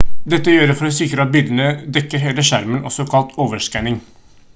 dette gjøres for å sikre at bildet dekker hele skjermen også kalt overskanning